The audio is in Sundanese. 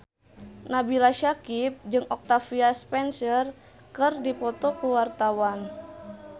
Nabila Syakieb jeung Octavia Spencer keur dipoto ku wartawan